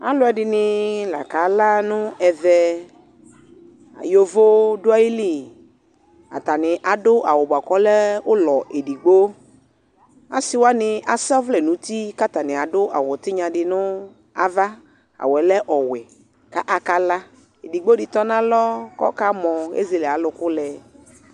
alʋɛdini la kala nʋ ɛvɛ, yɔvɔ dʋali, atani adʋ awʋ bʋakʋ ɔlɛ ʋlɔ ɛdigbɔ, asii wani asɔ ɔvlɛ nʋti kʋ atani adʋ awʋtinya dinʋ aɣa, awʋɛ lɛ ɔwɛ ka aka la, ɛdigbɔ di tɔnʋ alɔ kʋ ɔkamɔ, ɛzɛlɛ ayi alʋkʋ lɛ